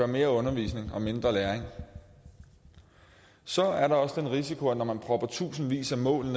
mere undervisning og mindre læring så er der også den risiko når man propper tusindvis af mål